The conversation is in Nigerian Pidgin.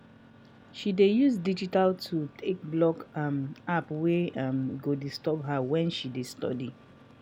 she dey use digital tools take block um app wey um go disturb her wen she dey study. um